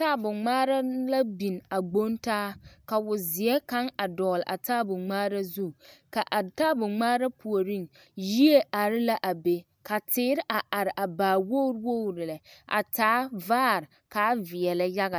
Taabo ŋmaara la biŋ a gboŋ taa ka wozeɛ kaŋ a dɔgele a taabo ŋmaara zu ka a taabo ŋmaara puoriŋ yie are la a be ka teere a are a baa waa wogiri wogiri lɛ a taa vaare ka a veɛlɛ yaga.